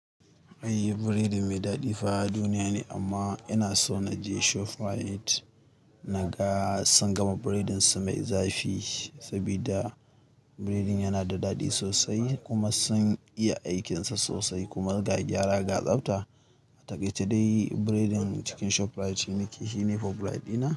Ai biredi mai daɗi fa duniya ne amma ina so na je Shoprite na ga sun gama biredin su mai zafi saboda biredin yana da daɗi sosai kuma sun iya aikinsa sosai kuma ga gyara ga tsabta. A taƙaice dai biredin cikin Shoprite shine favorite ina.